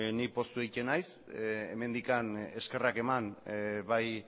nik poztu egiten naiz hemendik eskerrak eman bai